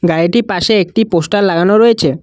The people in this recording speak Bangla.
গাড়িটির পাশে একটি পোস্টার লাগানো রয়েছে।